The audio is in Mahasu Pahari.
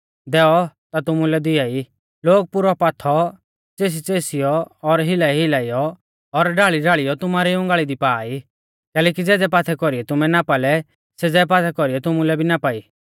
दैऔ ता तुमुलै भी दिआई लोग पुरौ पाथौ च़ेसीच़ेसीयौ और हिलाईहिलाईयौ और ढाल़ीढाल़ीयौ तुमारी उंगाल़ी दी पा ई कैलैकि ज़ेज़ै पाथै कौरीऐ तुमै नापा लै सेज़ै पाथै कौरीऐ तुमुलै भी नापा ई